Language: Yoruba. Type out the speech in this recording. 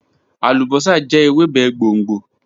Alubosa jẹ Ewebe gbongbo